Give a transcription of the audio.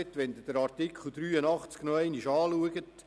Schauen Sie sich Artikel 84 Absatz 3 nochmals an.